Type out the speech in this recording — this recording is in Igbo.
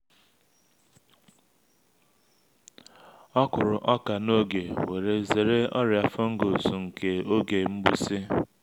o kuru oka n’oge we’re zere ọrịa fungus nke oge mgbụsị.